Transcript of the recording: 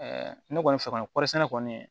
ne kɔni fɛ kɔni kɔri sɛnɛ kɔni